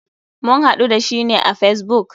Mun haɗu da shi ne a facebook.